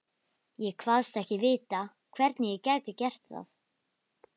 Ég kvaðst ekki vita, hvernig ég gæti gert það.